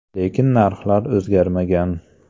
Lekin narxlar o‘zgarmagan.